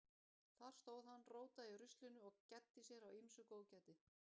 Þar stóð hann, rótaði í ruslinu og gæddi sér á ýmsu góðgæti.